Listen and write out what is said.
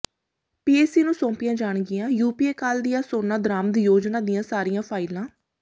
PAC ਨੂੰ ਸੌਂਪੀਆਂ ਜਾਣਗੀਆਂ ਯੂਪੀਏ ਕਾਲ ਦੀਆਂ ਸੋਨਾ ਦਰਾਮਦ ਯੋਜਨਾ ਦੀਆਂ ਸਾਰੀਆਂ ਫਾਈਲਾਂ